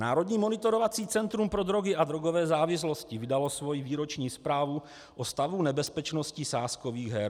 Národní monitorovací centrum pro drogy a drogové závislosti vydalo svoji výroční zprávu o stavu nebezpečnosti sázkových her.